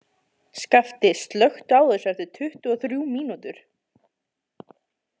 Skapti, slökktu á þessu eftir tuttugu og þrjú mínútur.